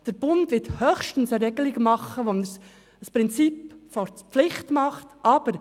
Der Bund wird höchstens eine Regelung machen, mit welcher das Prinzip der Pflicht eingeführt wird.